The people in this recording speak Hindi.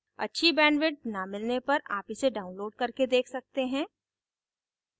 अच्छी bandwidth न मिलने पर आप इसे download करके देख सकते हैं